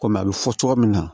Kɔmi a bɛ fɔ cogo min na